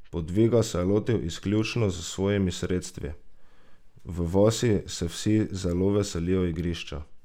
Podviga se je lotil izključno s svojimi sredstvi: "V vasi se vsi zelo veselijo igrišča.